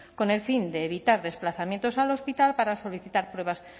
con el fin de evitar desplazamientos al hospital para solicitar pruebas